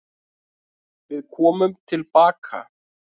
Við komum tilbaka.